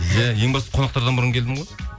иә ең басты қонақтардан бұрын келдім ғой